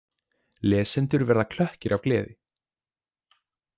Lesendur verða klökkir af gleði.